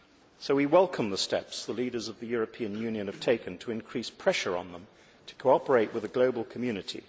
So we welcome the steps the leaders of the European Union have taken to increase pressure on them to cooperate with the global community.